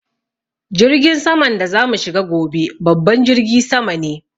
Jirgin saman da za mu shiga gobe babban jirgi sama ne